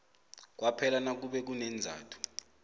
kwaphela nakube kuneenzathu